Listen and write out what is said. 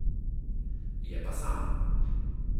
Je pa sam.